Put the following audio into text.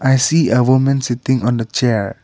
i see a women sitting on the chair.